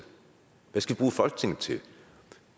hvad skal bruge folketinget til